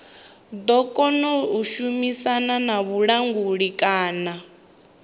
ḓo shumisana na vhulanguli kana